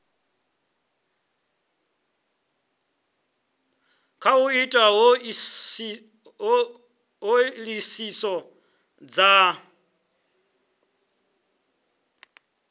kha u ita ṱhoḓisiso dza